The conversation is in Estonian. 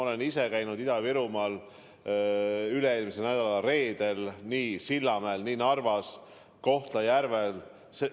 Ma ise käisin Ida-Virumaal üle-eelmise nädala reedel – nii Sillamäel, Narvas kui ka Kohtla-Järvel.